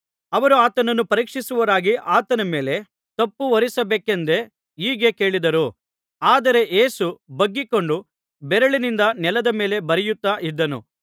ಅವರು ಆತನನ್ನು ಪರೀಕ್ಷಿಸುವವರಾಗಿ ಆತನ ಮೇಲೆ ತಪ್ಪುಹೊರಿಸಬೇಕೆಂದೇ ಹೀಗೆ ಕೇಳಿದರು ಆದರೆ ಯೇಸು ಬಗ್ಗಿಕೊಂಡು ಬೆರಳಿನಿಂದ ನೆಲದ ಮೇಲೆ ಬರೆಯುತ್ತಾ ಇದ್ದನು